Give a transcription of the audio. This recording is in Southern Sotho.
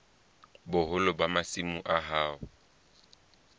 boholo ba masimo a hao